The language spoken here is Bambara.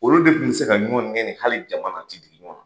Olu de kun bi se ka ɲɔgɔn nɛni hali jamana, a ti digi ɲɔgɔn na.